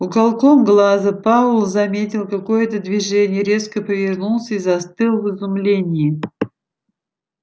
уголком глаза пауэлл заметил какое-то движение резко повернулся и застыл в изумлении